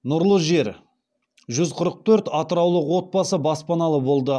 нұрлы жер жүз қырық төрт атыраулық отбасы баспаналы болды